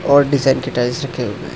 और टाइल्स रखे हुए है।